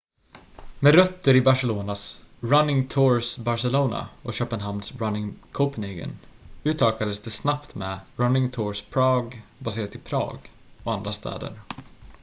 "med rötter i barcelonas "running tours barcelona" och köpenhamns "running copenhagen" utökades det snabbt med "running tours prague" baserat i prag och andra städer.